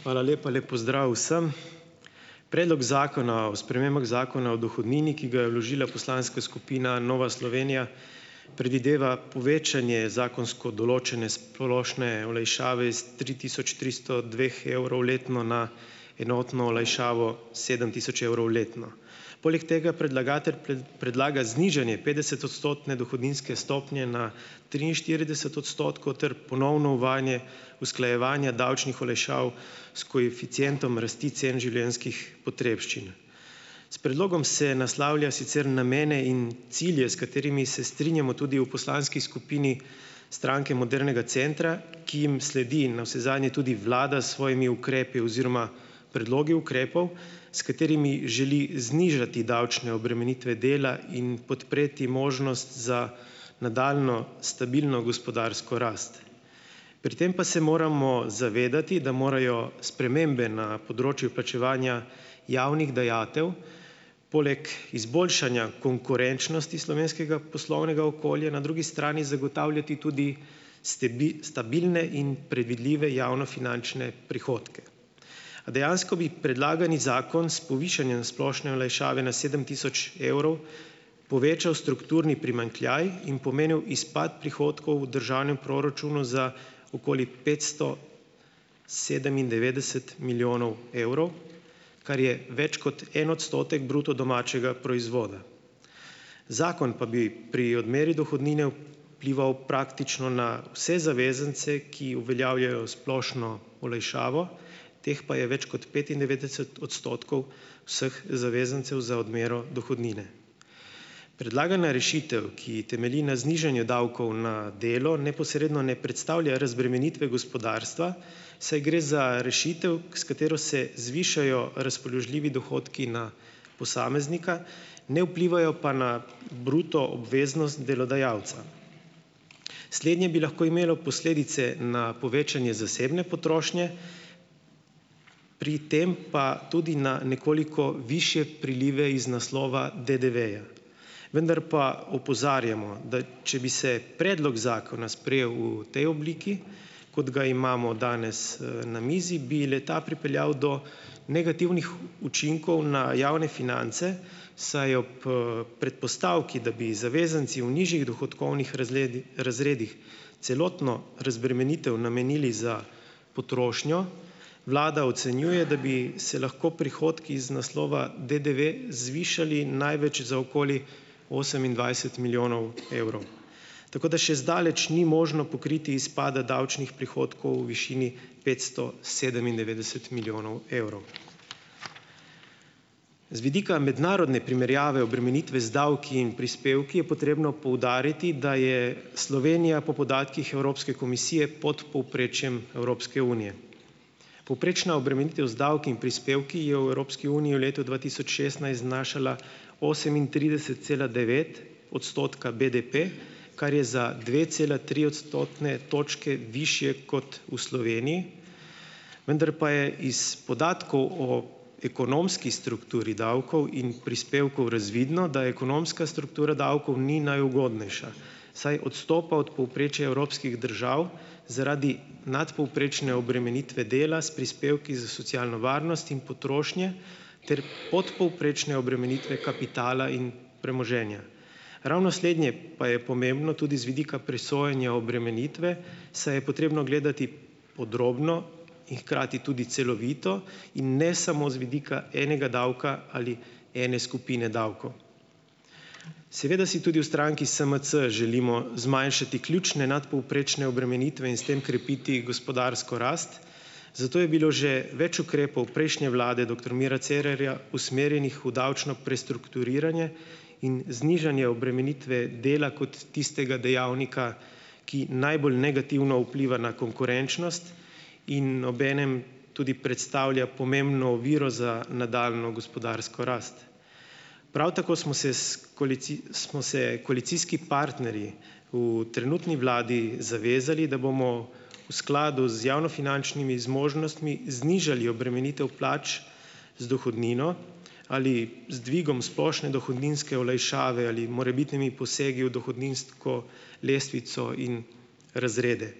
Hvala lepa. Lep pozdrav vsem! Predlog zakona o spremembah Zakona o dohodnini, ki ga je vložila poslanska skupina Nova Slovenija, predvideva povečanje zakonsko določene splošne olajšave iz tri tisoč tristo dveh evrov letno na enotno olajšavo sedem tisoč evrov letno. Poleg tega predlagatelj predlaga znižanje petdesetodstotne dohodninske stopnje na triinštirideset odstotkov ter ponovno uvajanje usklajevanja davčnih olajšav s koeficientom rasti cen življenjskih potrebščin. S predlogom se naslavlja sicer namene in cilje, s katerimi se strinjamo tudi v poslanski skupini Stranke modernega centra, ki jim sledi navsezadnje tudi vlada s svojimi ukrepi oziroma predlogi ukrepov, s katerimi želi znižati davčne obremenitve dela in podpreti možnost za nadaljnjo stabilno gospodarsko rast. Pri tem pa se moramo zavedati, da morajo spremembe na področju plačevanja javnih dajatev poleg izboljšanja konkurenčnosti slovenskega poslovnega okolja na drugi strani zagotavljati tudi stabilne in predvidljive javnofinančne prihodke. A dejansko bi predlagani zakon s povišanjem splošne olajšave na sedem tisoč evrov povečal strukturni primanjkljaj in pomenil izpad prihodkov v državnem proračunu za okoli petsto sedemindevetdeset milijonov evrov, kar je več kot en odstotek bruto domačega proizvoda. Zakon pa bi pri odmeri dohodnine vplival praktično na vse zavezance, ki uveljavljajo splošno olajšavo, teh pa je več kot petindevetdeset odstotkov vseh zavezancev za odmero dohodnine. Predlagana rešitev, ki temelji na znižanju davkov na delo, neposredno ne predstavlja razbremenitve gospodarstva, saj gre za rešitev, s katero se zvišajo razpoložljivi dohodki na posameznika, ne vplivajo pa na bruto obveznost delodajalca. Slednje bi lahko imelo posledice na povečanje zasebne potrošnje, pri tem pa tudi na nekoliko višje prilive iz naslova DDV-ja. Vndar pa opozarjamo, da če bi se predlog zakona sprejel v tej obliki, kot ga imamo danes ,#eee, na mizi, bi le-ta pripeljal do negativnih učinkov na javne finance, saj ob, predpostavki, da bi zavezanci v nižjih dohodkovnih razredih celotno razbremenitev namenili za potrošnjo, vlada ocenjuje, da bi se lahko prihodki iz naslova DDV zvišali največ za okoli osemindvajset milijonov evrov. Tako da še zdaleč ni možno pokriti izpada davčnih prihodkov v višini petsto sedemindevetdeset milijonov evrov. Z vidika mednarodne primerjave obremenitve z davki in prispevki je potrebno poudariti, da je Slovenija po podatkih Evropske komisije pod povprečjem Evropske unije. Povprečna obremenitev z davki in prispevki je v Evropski uniji v letu dva tisoč šestnajst znašala osemintrideset cela devet odstotka BDP, kar je za dve cela tri odstotne točke višje kot v Sloveniji, vendar pa je iz podatkov o ekonomski strukturi davkov in prispevkov razvidno, da ekonomska struktura davkov ni najugodnejša, saj odstopa od povprečja evropskih držav zaradi nadpovprečne obremenitve dela s prispevki za socialno varnost in potrošnje ter podpovprečne obremenitve kapitala in premoženja. Ravno slednje pa je pomembno tudi z vidika presojanja obremenitve, saj je potrebno gledati podrobno in hkrati tudi celovito in ne samo z vidika enega davka ali ene skupine davkov. Seveda si tudi v stranki SMC želimo zmanjšati ključne nadpovprečne obremenitve in s tem krepiti gospodarsko rast, zato je bilo že več ukrepov prejšnje vlade doktor Mira Cerarja usmerjenih v davčno prestrukturiranje in znižanje obremenitve dela kot tistega dejavnika, ki najbolj negativno vpliva na konkurenčnost in ob enem tudi predstavlja pomembno oviro za nadaljnjo gospodarsko rast. Prav tako smo se s smo se koalicijski partnerji v trenutni vladi zavezali, da bomo v skladu z javnofinančnimi zmožnostmi znižali obremenitev plač z dohodnino ali z dvigom splošne dohodninske olajšave ali morebitnimi posegi v dohodninsko lestvico in razrede.